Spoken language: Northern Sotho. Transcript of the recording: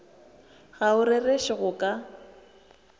ga o rereše go ka